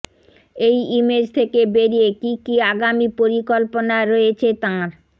এই ইমেজ থেকে বেরিয়ে কী কী আগামী পরিকল্পনা রয়েছে তাঁর